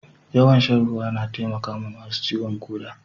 Yawan shan ruwa na taimakawa masu ciwon koda.